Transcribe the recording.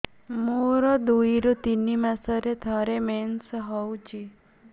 ମୋର ଦୁଇରୁ ତିନି ମାସରେ ଥରେ ମେନ୍ସ ହଉଚି